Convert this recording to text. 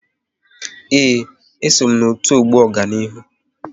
Ee, e so m n'otu ọgbọ Ọganihu